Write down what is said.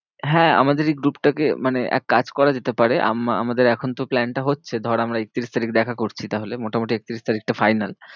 হ্যাঁ আমাদের এই group টাকে, মানে এক কাজ করা যেতে পারে আম~ আমাদের এখন তো plan টা হচ্ছে, ধর আমরা একত্রিশ তারিখ দেখা করছি। তাহলে মোটামুটি একত্রিশ তারিখটা final.